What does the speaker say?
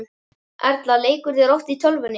Erla: Leikurðu þér oft í tölvunni?